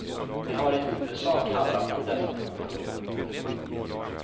Det har i huvudsak handlat om dessa två frågor.